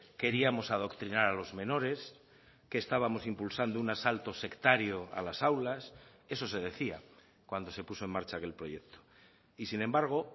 queríamos adoctrinar a los menores que estábamos impulsando un asalto sectario a las aulas eso se decía cuando se puso en marcha aquel proyecto y sin embargo